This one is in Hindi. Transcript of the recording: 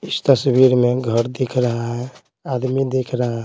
इस तस्वीर में घर दिख रहा है आदमी दिख रहा है।